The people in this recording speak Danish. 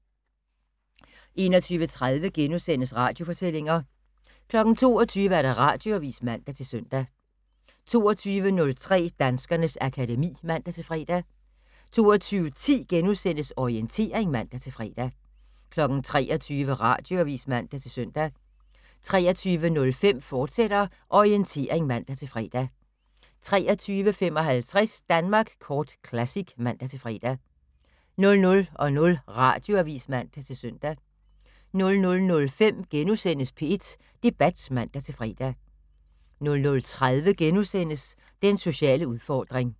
21:30: Radiofortællinger * 22:00: Radioavis (man-søn) 22:03: Danskernes akademi (man-fre) 22:10: Orientering *(man-fre) 23:00: Radioavis (man-søn) 23:05: Orientering, fortsat (man-fre) 23:55: Danmark Kort Classic (man-fre) 00:00: Radioavis (man-søn) 00:05: P1 Debat *(man-fre) 00:30: Den sociale udfordring *